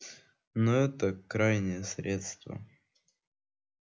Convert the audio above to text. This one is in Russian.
но это крайнее средство